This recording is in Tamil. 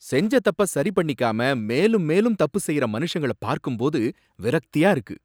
செஞ்ச தப்ப சரிபண்ணிக்காம மேலும் மேலும் தப்பு செய்யற மனுஷங்களை பார்க்கும் போது விரக்தியா இருக்கு.